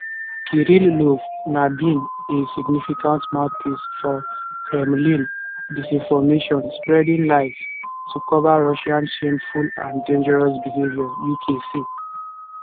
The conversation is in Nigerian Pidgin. kirillov na been a significant mouthpiece for kremlin disinformation spreading lies to cover russia shameful and dangerous behaviour uk say